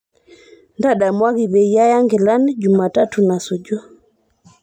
ntadamuaki peyie aya nkilani jumatatun nasuju